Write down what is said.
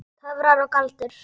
Töfrar og galdur.